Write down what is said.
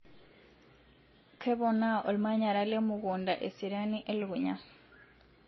keponaa ormanyara lemukunda eseriani ee lukunya